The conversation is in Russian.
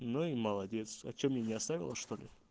ну и молодец а что мне не оставила что ли